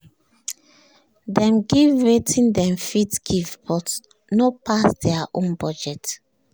dem give wetin dem fit give but no pass their own budget